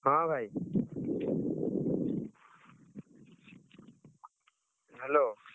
ହଁ ଭାଇ, Hello ।